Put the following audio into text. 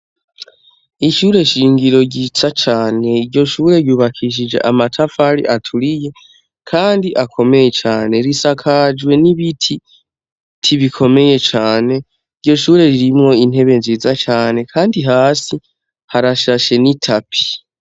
Ishure nshingiro ryiza cane iryo shure ryubakishije amatafari aturiye kandi akomeye cane, risakajwe n'ibiti bikomeye cane, iryo shure ririmwo intebe nziza cane kandi hasi harashashe n'itapi.